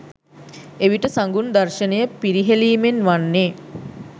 එවිට සඟුන් දර්ශනය පිරිහෙළීමෙන් වන්නේ